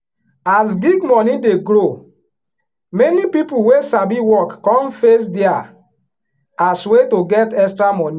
as gig money dey grow many people wey sabi work come face dia as way to get extra money.